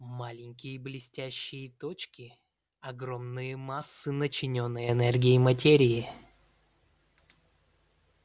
маленькие блестящие точки огромные массы начиненной энергией материи